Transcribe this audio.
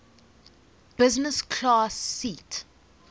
business class seat